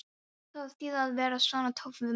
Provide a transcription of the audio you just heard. Hvað á að þýða að vera svona töff við mann.